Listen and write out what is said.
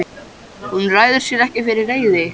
Hún ræður sér ekki fyrir reiði.